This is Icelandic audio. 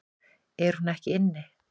Er hún ekki inni?